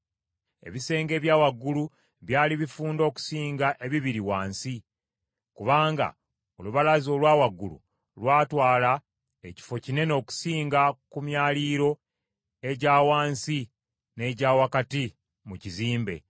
Ebisenge ebya waggulu byali bifunda okusinga ebibiri wansi, kubanga olubalaza olwa waggulu lwatwala ekifo kinene okusinga ku myaliiro egya wansi n’egya wakati mu kizimbe.